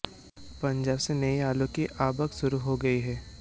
पंजाब से नए आलू की आवक शुरू हो गयी है